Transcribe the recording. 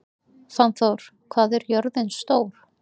Fannþór, hvað er jörðin stór?